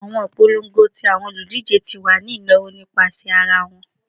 Awọn ipolongo ti awọn oludije ti wa ni inawo nipasẹ ara wọn